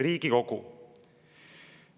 " Riigikogu.